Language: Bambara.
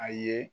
A ye